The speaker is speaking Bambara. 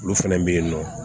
Olu fɛnɛ bɛ yen nɔ